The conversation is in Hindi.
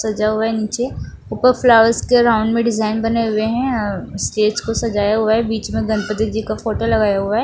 सजा हुआ है नीचे ऊपर फ्लावर्स के राउंड में डिज़ाइन बने हुए है स्टेज को सजाया हुआ है बीच में गणपति जी का फोटो लगाया हुआ है।